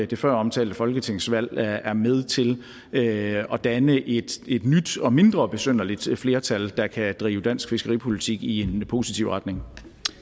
det føromtalte folketingsvalg er med til at danne et et nyt og mindre besynderligt flertal der kan drive dansk fiskeripolitik i en positiv retning